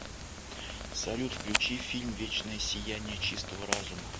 салют включи фильм вечное сияние чистого разума